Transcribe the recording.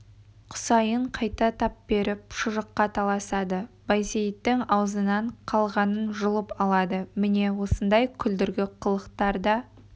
құсайын қайта тап беріп шұжыққа таласады байсейіттің аузынан қалғанын жұлып алады міне осындай күлдіргі қылықтар да